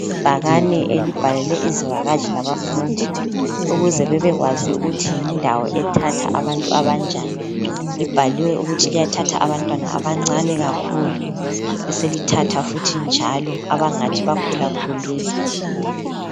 Ibhakani elibhalelwe izivakatshi labafundi ukuze bebekwazi ukuthi yindawo ethatha abantu abanjani. Libhaliwe ukuthi liyathatha abantwana abancane kakhulu beselithatha futhi njalo abangathi bakhulakhulile.